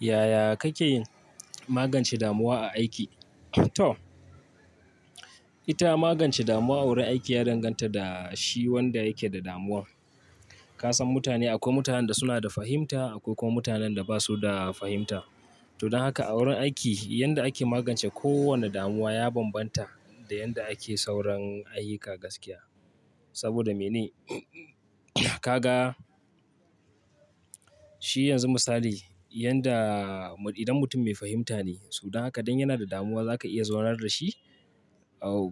Yaya kake magance damuwa a aiki? Ita magance damuwa a wurin aiki ya danganta da shi wanda yake da damuwar. Ka san mutane akwai mutanen da suna da fahimta, akwai kuma mutanen da ba su da fahimta. To don haka a wurin aiki yanda ake magance kowane damuwa ya bambanta da yanda ake sauran ayyuka gaskiya. Saboda mene? Kaga shi yanzu misali yanda idan mutum mai fahimta ne, so dan haka idan yana da damuwa za ka iya zaunar da shi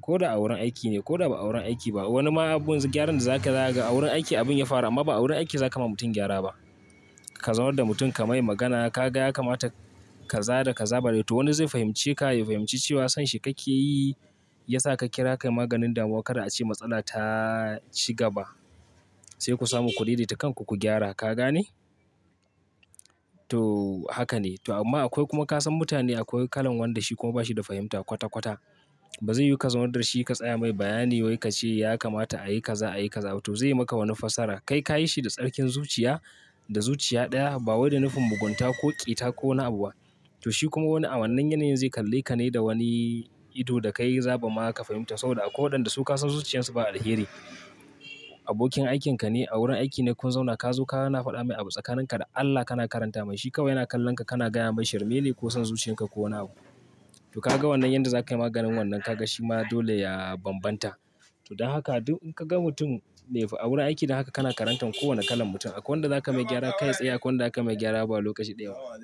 ko da a wurin aiki ne ko ba a wurin aiki ba. Wani ma abun gyaran da za ka za ga wurin aiki abin ya fara amma ba wurin aiki za ka ma mutum gyara ba. Ka zaunar da mutum ka mai magana ka ga ya kamata ka za da ka zaba dai to wani zai fahimce ka, ya fahimci cewa sanshi kake yi ya sa ka kira kai maganin damuwa kada ace matsala ta ci gaba. Sai ku samu ku dai dai ta kan ku ku gyara. Ka gane? To haka ne. To amma akwai kuma ka san mutane akwai kalan wanda shi kuma ba shi da fahimta kwata kwata. Ba zai yiwu ka zaunar da shi ka tsaya mai bayani wai ka ce ya kamata ayi ka za ayi ka za. To zai yi maka wani fasara kai ka yi shi da tsarkin zuciya da zuciya ɗaya ba wai da nufin mugunta ko ƙita ko wani abu ba. To shi kuma wannan yanayin zai kalle ka ne da wani ido da kai za ba ma ka fahimta saboda a ko'ina da su ka san zuciyarsu ba alheri. Abokin aikinka ne a wurin aiki ne kun zauna ka zo ka na faɗa mai abu tsakanin ka da Allah kana karanta mai. Shi kawai yana kallon ka kana gaya masa shirmene ko son zuciyan ka ko wani abu. To ka ga wannan yanda za ka yi maganin wannan ka ga shi ma dole ya bambanta. To don haka in ka ga mutum a wurin aiki dan haka kana karanta kowane kalan mutum. Akwai wanda za ka mai gyara kai tsaye akwai wanda za ka mai gyara ba lokaci ɗaya ba.